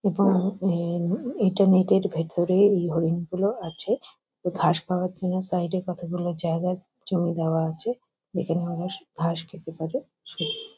এবং এ এটা নেট -এর ভেতরে এই হরিণগুলো আছে। ঘাস খাওয়ার জন্য সাইড -এ কতগুলো জায়গা জমি চড়ে দেওয়া আছে | যেখানে ওরা ঘাস খেতে পারে |